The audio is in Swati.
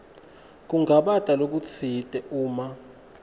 kungabata lokutsite uma